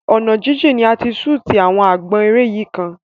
Ọ̀nà jíjìn ni a ti ṣútì àwọn àgbọn eré yìí kan.